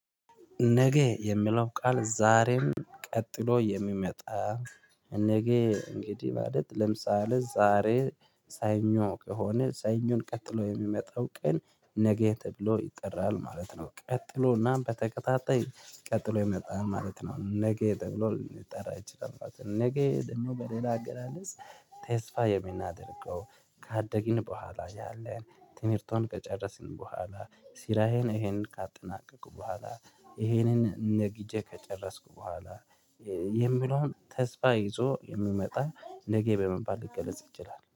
ነገ የሚለው ቃል ዛሬም ቀጥሎ የሚመጣ። እን ነገ እንግዲህ ማለት ለምሳሌ ዛሬ ሰኞ ከሆነ ሰኞን ቀጥሎ የሚመጣው ቀን ነገ ተብሎ ይጠራል ማለት ነው። ቀጥሎና በተከታታይ ቀጥሎ የሚመጣ ማለት ነው ነገ ተብሎ ሊጠራ ይችላል ማለት ነው። ነገ ደግሞ በሌላ አገላለጽ ተስፋ የሚናደርገው ካደግን በኋላ ያለን ትምህርትን ከጨረስን በኋላ ስራዬን ይሄንን ካጠናቀኩ በኋላ ይሄንን ነግጄ ከጨረስኩ በኋላ የምለውን ተስፋ ይዞ የምመጣ ነገ በመባል ልገለጽ ይችላል